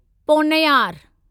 Ponnaiyar